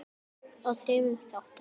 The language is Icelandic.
í þremur þáttum.